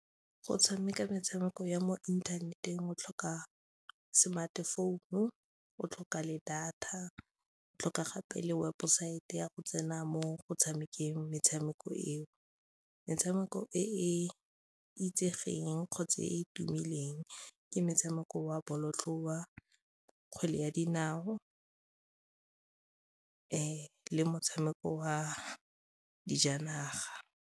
Go tshameka metshameko ya mo inthaneteng o tlhoka smart phone-u, o tlhoka le data, o tlhoka gape le webosaete ya go tsena mo go tshameke metshameko eo. Metshameko e itsegeng kgotsa e e tumileng ke motshameko wa bolotloa, kgwele ya dinao le motshameko wa dijanaga.